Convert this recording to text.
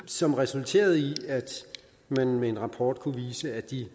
som resulterede i at man med en rapport kunne vise at de